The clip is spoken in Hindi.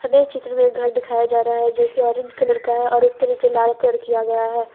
में चित्र में एक घर दिखाया जा रहा है जो की ऑरेंज कलर का है और उसके नीचे लाल कलर किया गया है।